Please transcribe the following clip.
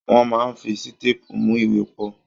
Wọ́n máa ń fi sítépù mú ìwé pọ̀.